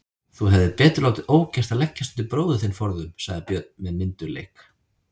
Þú hefðir betur látið ógert að leggjast undir bróður þinn forðum, sagði Björn með myndugleik.